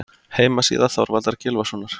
Heimasíða Þorvaldar Gylfasonar.